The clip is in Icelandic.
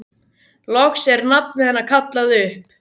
Loks er nafnið hennar kallað upp.